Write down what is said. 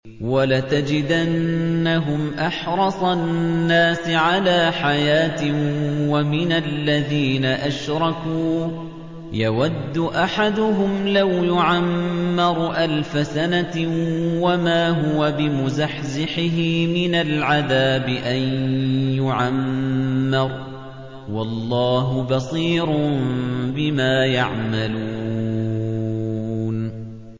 وَلَتَجِدَنَّهُمْ أَحْرَصَ النَّاسِ عَلَىٰ حَيَاةٍ وَمِنَ الَّذِينَ أَشْرَكُوا ۚ يَوَدُّ أَحَدُهُمْ لَوْ يُعَمَّرُ أَلْفَ سَنَةٍ وَمَا هُوَ بِمُزَحْزِحِهِ مِنَ الْعَذَابِ أَن يُعَمَّرَ ۗ وَاللَّهُ بَصِيرٌ بِمَا يَعْمَلُونَ